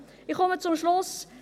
Ich komme zum Schluss.